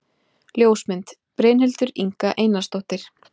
Ljósmynd: Brynhildur Inga Einarsdóttir